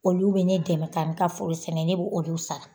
Olu bɛ ne dɛmɛ ka n ka foro sɛnɛ ne b'olu sara.